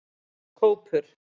Kópur